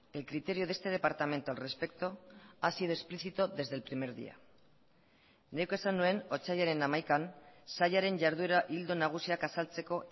el criterio de este departamento al respecto ha sido explicito desde el primer día nik esan nuen otsailaren hamaikan sailaren jarduera ildo nagusiak azaltzeko